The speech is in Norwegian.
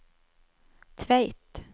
Tveit